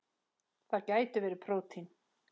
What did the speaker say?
Það gætu verið prótín.